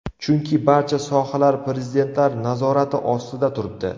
Chunki barcha sohalar prezidentlar nazorati ostida turibdi .